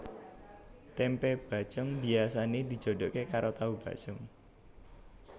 Tempe bacém biasane dijodoke karo tahu bacém